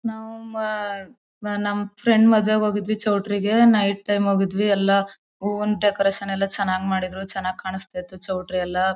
November ನ ನಮ್ friend ಮದ್ವೇಗ್ ಹೋಗಿದ್ವಿ. ಚೌಟ್ರಿಗೆ ನೈಟ್ ಟೈಮ್ ಹೋಗಿದ್ವಿ ಎಲ್ಲ ಹೂವಿನ್ ಡೆಕೋರೇಷನ್ ಎಲ್ಲ ಚನಾಗ್ ಮಾಡಿದ್ರು ಚನಾಗ್ ಕಾಣ್ಸ್ತ ಇತ್ತು ಚೌಟ್ರಿ ಎಲ್ಲ.